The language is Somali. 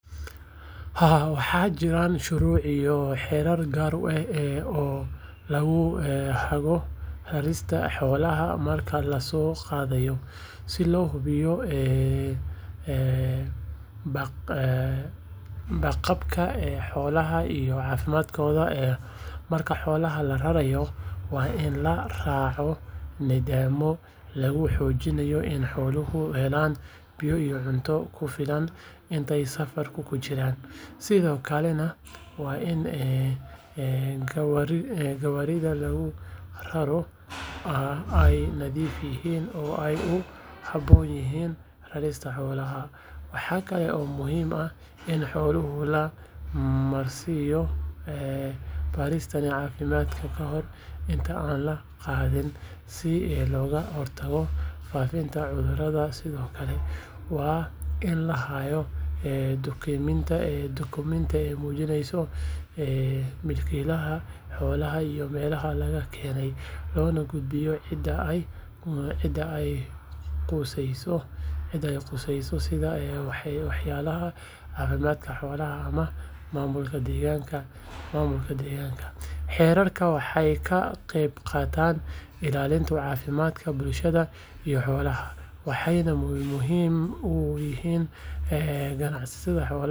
Haa, waxaa jiraan shuruuc iyo xeerar gaar ah oo lagu hago rarista xoolaha marka la soo qaadayo, si loo hubiyo badqabka xoolaha iyo caafimaadkooda. Marka xoolaha la rarayo, waa in la raacaa nidaamyo lagu xaqiijinayo in xooluhu helaan biyo iyo cunto ku filan intay safarka ku jiraan, sidoo kalena waa in gawaarida lagu raro ay nadiif yihiin oo ay u habboon yihiin rarista xoolaha. Waxaa kale oo muhiim ah in xoolaha la marsiiyo baaritaan caafimaad kahor inta aan la qaadin si looga hortago faafidda cudurrada. Sidoo kale, waa in la hayaa dukumenti muujinaya milkiilaha xoolaha iyo meesha laga keenay, loona gudbiyo cidda ay quseyso sida waaxyaha caafimaadka xoolaha ama maamulka deegaanka. Xeerarkani waxay ka qeyb qaataan ilaalinta caafimaadka bulshada iyo xoolaha, waxayna muhiim u yihiin ganacsiga xoolaha gudaha iyo dibaddaba. Waa in qof kasta oo xoolo raraya uu si fiican u fahmo oo u ilaaliyo shuruudahaas si looga fogaado ganaaxyo ama dhibaatooyin sharci.